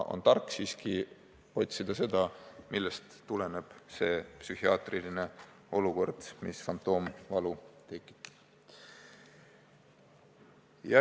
On tark siiski otsida põhjust, millest tuleneb see psühhiaatriline probleem, et fantoomvalu tekib.